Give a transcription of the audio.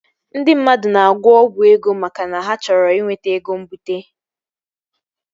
Ndị mmadụ na-agwọ ọgwụ ego maka na ha chọrọ inweta ego mbute